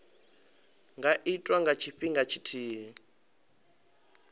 nga itwa nga tshifhinga tshithihi